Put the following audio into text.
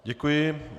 Děkuji.